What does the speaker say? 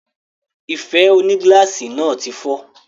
Ife onígíláàsì náà tí fọ́